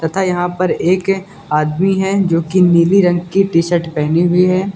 तथा यहां पर एक आदमी है जो की नीली रंग की टी शर्ट पहनी हुई हैं।